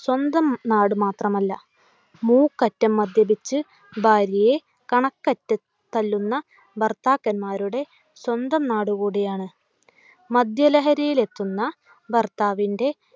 സ്വന്തം നാട് മാത്രമല്ല. മൂക്കറ്റം മദ്യപിച്ചു ഭാര്യയെ കണക്കറ്റ് തല്ലുന്ന ഭർത്താക്കന്മാരുടെ സ്വന്തം നാടുകൂടിയാണ്. മദ്യ ലഹരിയിൽ എത്തുന്ന